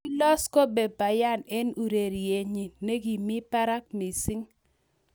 Koilos Kobe Bryant eng urerietnyi ne kimi barak missing